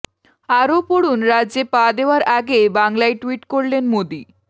আরও পড়ুন রাজ্যে পা দেওয়ার আগে বাংলায় টুইট করলেন মোদী